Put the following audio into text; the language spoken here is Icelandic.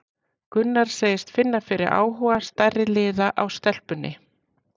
Gunnar segist finna fyrir áhuga stærri liða á stelpunni.